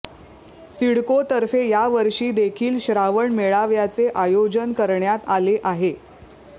सिडकोतर्फे यावर्षी देखील श्रावण मेळाव्याचे आयोजन करण्यात आले आहे